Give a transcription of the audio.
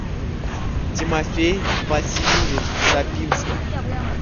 тимофей васильевич сапинский